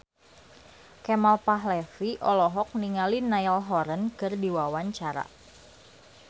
Kemal Palevi olohok ningali Niall Horran keur diwawancara